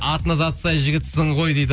атына заты сай жігітсің ғой дейді